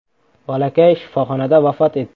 Bolakay shifoxonada vafot etdi.